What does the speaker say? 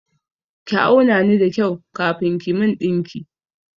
Ki auna ni da kyau kafin ki min ɗinki!